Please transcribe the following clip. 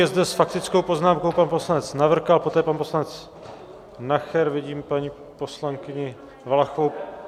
Je zde s faktickou poznámkou pan poslanec Navrkal, poté pan poslanec Nacher, vidím paní poslankyni Valachovou.